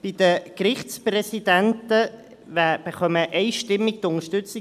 Bei den Gerichtspräsidenten erhält Frau Ursina Cavegn unsere einstimmige Unterstützung;